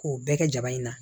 K'o bɛɛ kɛ jaba in na